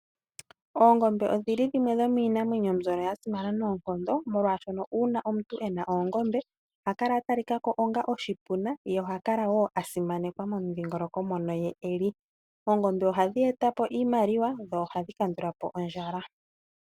Oongombe odhili dhimwe dhomiinamwenyo mbyono yasimana noonkondo molwaashono uuna omuntu ena oongombe oha kala atalikako onga oshipuna ye oha kala wo asimanekwa momudhongoloko mono ye eli, oondombe ohadhi etapo oshimaliwa dho ohadhi kandulapo ondjala.